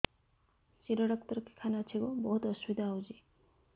ଶିର doctor କେଖାନେ ଅଛେ ଗୋ ବହୁତ୍ ଅସୁବିଧା ହଉଚି